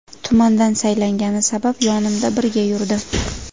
Tumandan saylangani sabab yonimda birga yurdi.